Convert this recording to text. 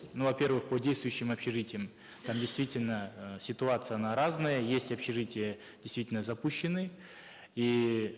ну во первых по действующим общежитиям там действительно э ситуация она разная есть общежития действительно запущенные иии